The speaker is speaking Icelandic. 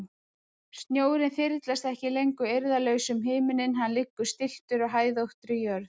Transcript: Snjórinn þyrlast ekki lengur eirðarlaus um himininn, hann liggur stilltur á hæðóttri jörð.